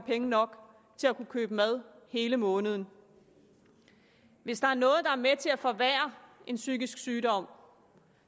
penge nok til at kunne købe mad hele måneden hvis der er noget der er med til at forværre en psykisk sygdom